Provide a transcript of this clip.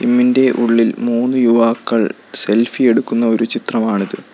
Gym ഇൻ്റെ ഉള്ളിൽ മൂന്ന് യുവാക്കൾ സെൽഫി എടുക്കുന്ന ഒരു ചിത്രമാണിത്.